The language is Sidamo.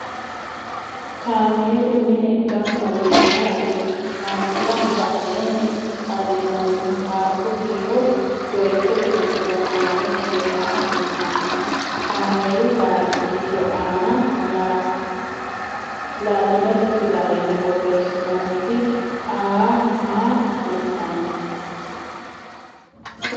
Kaamelu mine gamba yee mayra uurrino ? Kaamelaho badheenni xallinannihu taargu kiiro doyichote giddo noo 2 kiiro maa kultanno ? Kameelu taargi kiiro aana laatinete fidalenni borressinoonnit "AA" maa kultanno ?